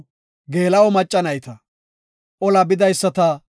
Miizati 36,000; entafe Godaas imetiday 72.